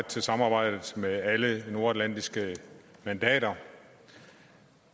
til samarbejdet med alle de nordatlantiske mandater